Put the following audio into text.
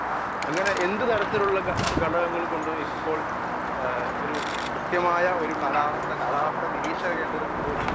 speaker 1 അങ്ങനെ എന്ത് തരത്തിലുള്ള ഘടകങ്ങൾ കൊണ്ടും ഇപ്പോൾ കൃത്യമായ ഒരു കാലാവസ്ഥ, കാലാവസ്ഥ നിരീക്ഷകർക്കുപോലും